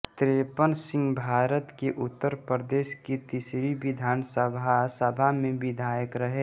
त्रेपन सिंहभारत के उत्तर प्रदेश की तीसरी विधानसभा सभा में विधायक रहे